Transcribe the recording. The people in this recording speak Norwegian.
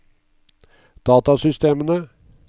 datasystemene